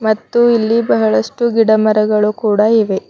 ಮತ್ತು ಇಲ್ಲಿ ಬಹಳಷ್ಟು ಗಿಡಮರಗಳು ಕೂಡ ಇವೆ.